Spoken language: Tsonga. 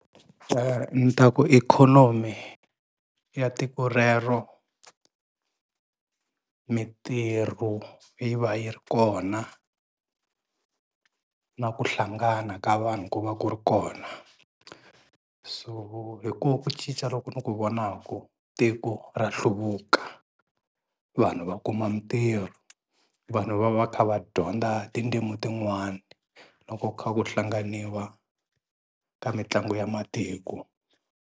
Ni ta ku ikhonomi ya tiko rero mintirho yi va yi ri kona na ku hlangana ka vanhu ku va ku ri kona. So hi ko ku cinca lo ku ni ku vonaku tiko ra hluvuka, vanhu va kuma mintirho. Vanhu va va kha va dyondza tindzimu tin'wani loko kha ku hlanganiwa ka mitlangu ya matiko.